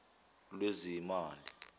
lwezimali